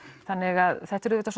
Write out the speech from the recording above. þannig að þetta er auðvitað